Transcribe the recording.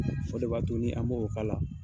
O de b'a to ni an bo o k'ala